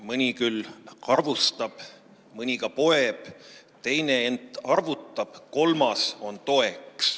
Mõni küll arvustab, mõni ka poeb, teine ent arvutab, kolmas on toeks.